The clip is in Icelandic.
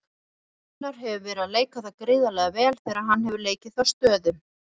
Gunnar hefur verið að leika það gríðarlega vel þegar hann hefur leikið þá stöðu.